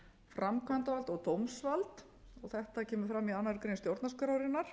framkvæmdavald og dómsvald þetta kemur fram í annarri grein stjórnarskrárinnar